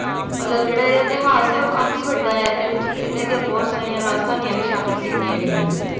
ਮਤਲਬ ਜਿਹੜਾ ਇਹਦਾ ਇਤਿਹਾਸ ਆ ਓ ਕਾਫੀ ਵੱਡਾ ਆ ਏਹਦੇ ਵਿਚ ਇੰਨਾ ਦੀਆਂ ਬਹੁਤ ਸਾਰੀਆਂ ਰਾਜਧਾਨੀਆਂ ਵੀ ਸ਼ਾਮਿਲ ਕੀਤੀ ਗਈਆਂ ਨੇ